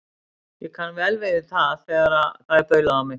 Ég kann vel við það þegar það er baulað á mig.